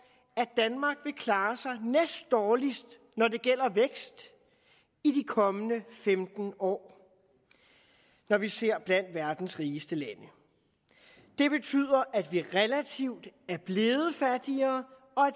at danmark vil klare sig næstdårligst når det gælder vækst i de kommende femten år når vi ser blandt verdens rigeste lande det betyder at vi relativt er blevet fattigere og